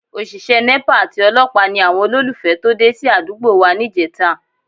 Òṣìṣẹ́ Nepa àti olọ́pàá ni àwọn olólùfẹ́ tó dé sí àdúgbò wa níjẹta